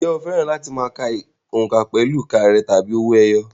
Ǹjẹ́ o fẹ́ràn láti ka òǹkà pẹ̀lú ìka rẹ̀ tàbí owó ẹyọ?